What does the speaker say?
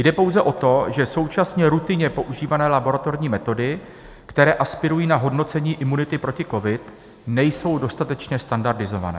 Jde pouze o to, že současně rutinně používané laboratorní metody, které aspirují na hodnocení imunity proti covidu, nejsou dostatečně standardizované.